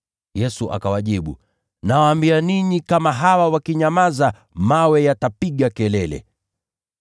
Yesu akawajibu, “Nawaambia ninyi, kama hawa wakinyamaza, mawe yatapiga kelele.”